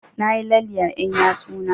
Na yi lalle a ƴan yatsu na